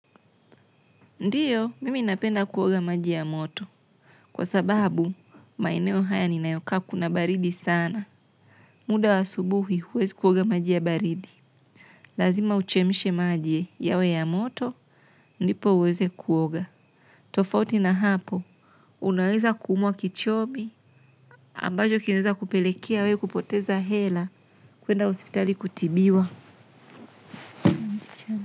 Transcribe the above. Ndiyo, mimi napenda kuoga maji ya moto. Kwa sababu, maeneo haya ninayokaa kuna baridi sana. Muda wa asubuhi huwezi kuoga maji ya baridi. Lazima uchemshe maji yawe ya moto ndipo uweze kuoga. Tofauti na hapo unaweza ku umwa kichobi ambacho kinaweza kupelekea wewe kupoteza hela kuenda hospitali kutibiwa.